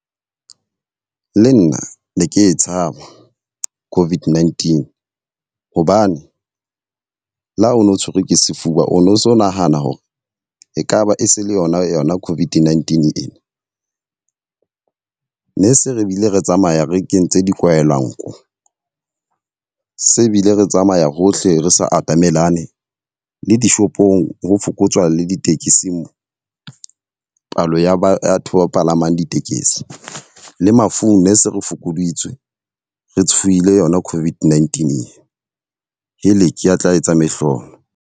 Le nna ne ke tshaba COVID-19, hobane le ha o no tshwerwe ke sefuba o no so nahana hore ekaba e se le yona yona COVID-19 e. Ne se re bile re tsamaya re kentse di kwaela nko, se bile re tsamaya hohle re sa atamelane le dishopong ho fokotswa le ditekesing palo ya batho ba palamang ditekesi. Le mafung ne se re fokoditswe, re tshohile yona COVID-19. Heleke a tla etsa mehlolo.